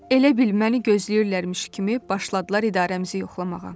Elə bil məni gözləyirlərmiş kimi başladılar idarəmizi yoxlamağa.